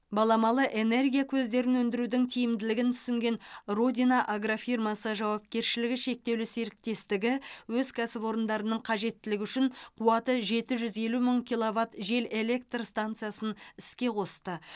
баламалы энергия көздерін өндірудің тиімділігін түсінген родина агрофирмасы жауапкершілігі шектеулі серіктестігі өз кәсіпорындарның қажеттілігі үшін қуаты жеті жүз елу мың киловатт жел электр стансасын іске қосты